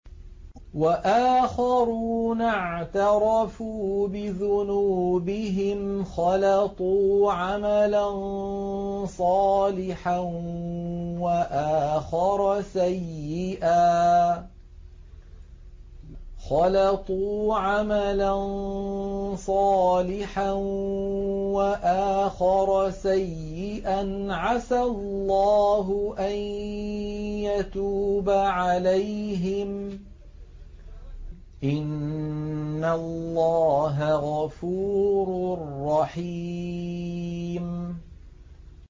وَآخَرُونَ اعْتَرَفُوا بِذُنُوبِهِمْ خَلَطُوا عَمَلًا صَالِحًا وَآخَرَ سَيِّئًا عَسَى اللَّهُ أَن يَتُوبَ عَلَيْهِمْ ۚ إِنَّ اللَّهَ غَفُورٌ رَّحِيمٌ